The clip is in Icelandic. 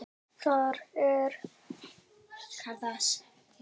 Þar er skarð fyrir skildi.